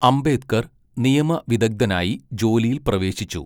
അംബേദ്കർ നിയമവിദഗ്ധനായി ജോലിയിൽ പ്രവേശിച്ചു.